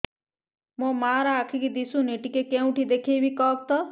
ମୋ ମା ର ଆଖି କି ଦିସୁନି ଟିକେ କେଉଁଠି ଦେଖେଇମି କଖତ